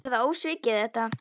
Er það ósvikið þetta?